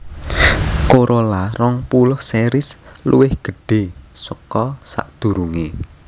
Corolla rong puluh series luwih gedhé saka sadurungé